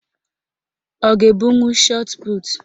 Ọ ga-ebunwu shọtputu?